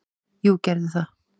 """Jú, gerðu það!"""